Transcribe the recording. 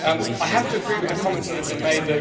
I have to agree with the comments that have been made.